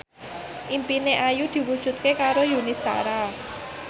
impine Ayu diwujudke karo Yuni Shara